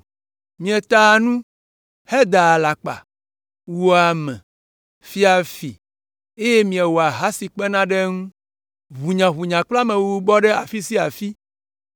Mietaa nu, hedaa alakpa, wua ame, fia fi, eye miewɔa ahasi kpena ɖe eŋu. Ʋunyaʋunya kple amewuwu bɔ ɖe afi sia afi.